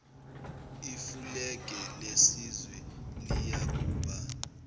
ifulege lesizwe liyakuba